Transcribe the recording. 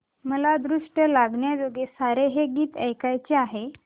मला दृष्ट लागण्याजोगे सारे हे गीत ऐकायचे आहे